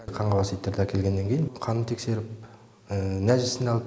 қаңғыбас иттерді әкелгеннен кейін қанын тексеріп нәжісін алып